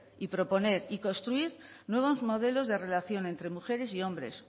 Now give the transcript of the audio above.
proponer y construir nuevos modelos de relación entre mujeres y hombres